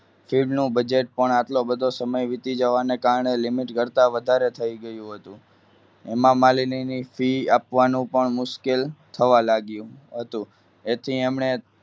નું budget પણ આટલો બધો સમય વીતી જવાના કારણે limit કરતાં વધારે થઈ ગયું હતું. હેમામાલીની fee આપવાનું પણ મુશ્કેલ થવા લાગ્યું હતું. તેથી તેમણે